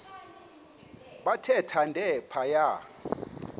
bathe thande phaya